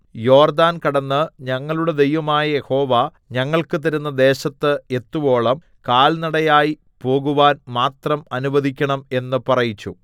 യോർദ്ദാൻ കടന്ന് ഞങ്ങളുടെ ദൈവമായ യഹോവ ഞങ്ങൾക്ക് തരുന്ന ദേശത്ത് എത്തുവോളം കാൽനടയായി പോകുവാൻ മാത്രം അനുവദിക്കണം എന്ന് പറയിച്ചു